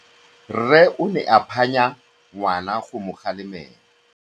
Rre o ne a phanya ngwana go mo galemela.